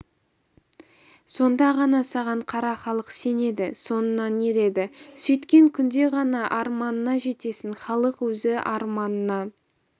сонда ғана саған қара халық сенеді соңыңнан ереді сөйткен күнде ғана арманыңа жетесің халық өзі арманыңа